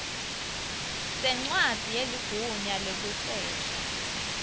sencwadzi yeligunya lekusesha